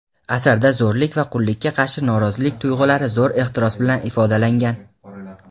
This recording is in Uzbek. Asarda zo‘rlik va qullikka qarshi norozilik tuyg‘ulari zo‘r ehtiros bilan ifodalangan.